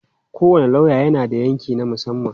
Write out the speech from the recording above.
Kowane lauya yana da yanki na musamman.